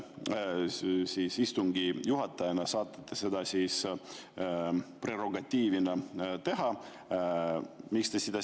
Istungi juhatajana saate te seda prerogatiivi teha.